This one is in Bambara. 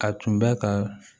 A tun bɛ ka